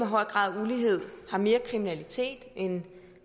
høj grad af ulighed har mere kriminalitet end